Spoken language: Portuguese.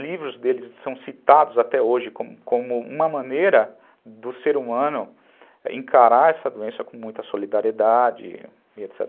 Livros dele são citados até hoje como uma maneira do ser humano encarar essa doença com muita solidariedade e etc.